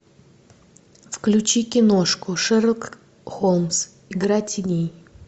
включи киношку шерлок холмс игра теней